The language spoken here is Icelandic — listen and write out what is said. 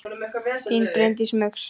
Þín Bryndís Muggs.